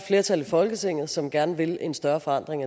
flertal i folketinget som gerne vil en større forandring